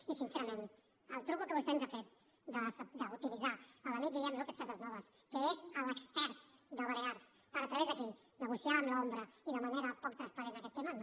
i sincerament el truc que vostè ens ha fet d’utilitzar l’amic guillem lópez casasnovas que és l’expert de balears per a través d’aquí negociar amb l’ombra i de manera poc transparent aquest tema no